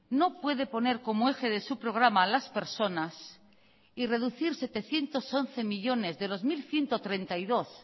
no puede poner como eje de su programa a las personas y reducir setecientos once millónes de los mil ciento treinta y dos